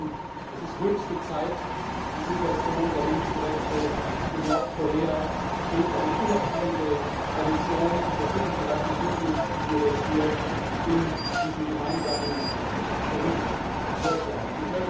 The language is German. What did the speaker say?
Wir meinen, es ist höchste Zeit, die Situation der Menschenrechte in Nordkorea durch eine unabhängige Kommission untersuchen zu lassen, so, wie wir das hier in diesem gemeinsamen Bericht vorschlagen.